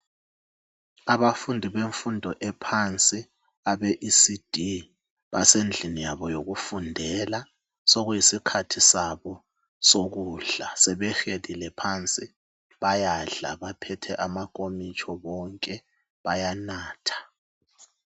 Abafundi bemfundo ephansi abeECD basendlini yabo yokufundela .Sokuyisikhathi sabo sokudla sebehelile phansi bayadla baphethe amankomitsho bonke bayanatha.